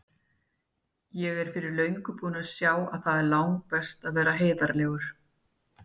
Ég er fyrir löngu búin að sjá að það er langbest að vera heiðarlegur.